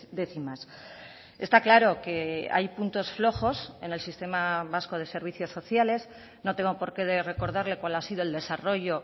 décimas está claro que hay puntos flojos en el sistema vasco de servicios sociales no tengo por qué recordarle cual ha sido el desarrollo